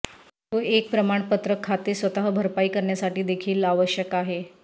तो एक प्रमाणपत्र खाते स्वतः भरपाई करण्यासाठी देखील आवश्यक आहे